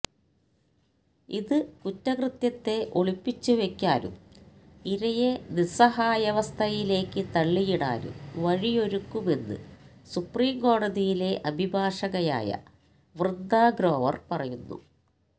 ഇത് കുറ്റകൃത്യത്തെ ഒളിപ്പിച്ചു വെയ്ക്കാനും ഇരയെ നിസ്സാഹായവസ്ഥയിലേയ്ക്ക് തളളിയിടാനും വഴിയൊരുക്കുമെന്ന് സുപ്രീം കോടതിയിലെ അഭിഭാഷകയായ വൃന്ദ ഗ്രോവർ പറയുന്നു